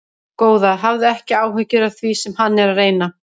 Góða, hafðu ekki áhyggjur af því sem hann er að reyna.